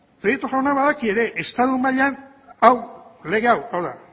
jauna badaki ere estatu mailan hau lege hau hau da